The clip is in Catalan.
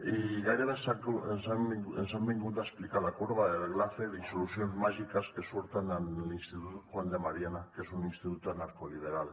i gairebé ens han vingut a explicar la corba de laffer i solucions màgiques que surten en l’institut juan de mariana que és un institut anarcoliberal